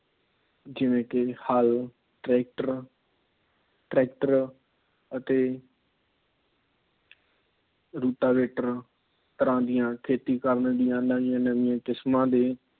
ਜਿਵੇ ਕਿ ਹੱਲ, ਟਰੈਕਟਰ, ਟਰੈਕਟਰ ਅਤੇ ਰੂਟਾਵੇਟਰ ਤਰ੍ਹਾਂ ਦੀਆ ਖੇਤੀ ਕਰਨ ਦੀਆ ਨਵੀਆਂ ਨਵੀਆਂ ਕਿਸਮਾਂ ਦੇ